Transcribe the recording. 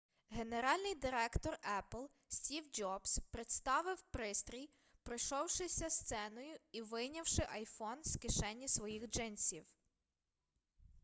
генеральний директор епл стів джобс представив пристрій пройшовшися сценою і вийнявши iphone з кишені своїх джинсів